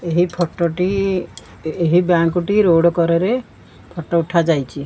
ଏହି ଫଟ ଟି ଏହି ବ୍ୟାଙ୍କ୍ ଟି ରୋଡ କଡ଼ରେ ଫଟୋ ଉଠା ଯାଇଛି।